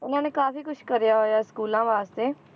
ਉਹਨਾਂ ਨੇ ਕਾਫ਼ੀ ਕੁਛ ਕਰਿਆ ਹੋਇਆ ਸਕੂਲਾਂ ਵਾਸਤੇ।